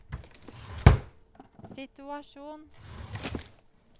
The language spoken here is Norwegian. situasjon